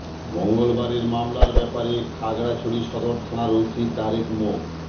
মঙ্গলবারের মামলার ব্যাপারে খাগড়াছড়ি সদর থানার ওসি তারেক মো